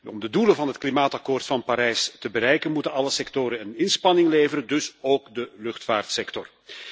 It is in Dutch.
Om de doelen van het klimaatakkoord van Parijs te bereiken moeten alle sectoren een inspanning leveren, dus ook de luchtvaartsector.